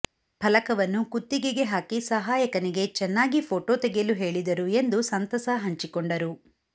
ಫಲಕವನ್ನು ಕುತ್ತಿಗೆಗೆ ಹಾಕಿ ಸಹಾಯಕನಿಗೆ ಚೆನ್ನಾಗಿ ಫೋಟೊ ತೆಗೆಯಲು ಹೇಳಿದರು ಎಂದು ಸಂತಸ ಹಂಚಿಕೊಂಡರು